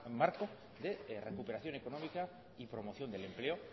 marco de recuperación económica y promoción del empleo